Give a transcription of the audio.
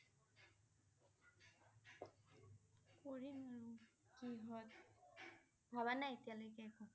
কৰিম আৰু কিহঁত । ভবা নাই এতিয়া লৈকে একো